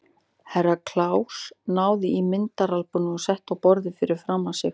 Herra Kláus náði í myndaalbúmið og setti á borðið fyrir framan sig.